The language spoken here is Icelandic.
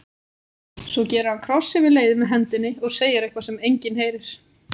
Svo gerir hann kross yfir leiðið með hendinni og segir eitthvað sem enginn heyrir.